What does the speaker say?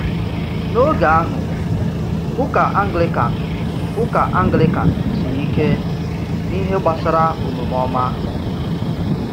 N’oge ahụ, ụka Anglican ụka Anglican siri ike n’ihe gbasara omume ọma.